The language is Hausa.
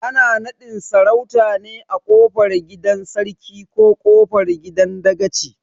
Ana naɗin sarautar ne a kofar gidan Sarkin ko kofar gidan dakaci